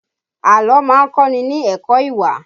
Àlọ́ má ń kọ́ ni ní ẹ̀kọ́ ìwà